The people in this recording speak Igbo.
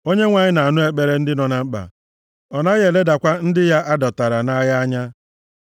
Onyenwe anyị na-anụ ekpere ndị nọ na mkpa, ọ naghị eledakwa ndị ya a dọtara nʼagha anya.